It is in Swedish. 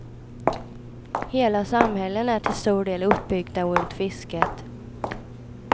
Hela samhällen är till stor del uppbyggda runt fisket.